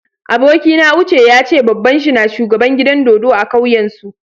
Abokina Uche ya ce babban shi na shugaban gidan dodo a'kauyan su.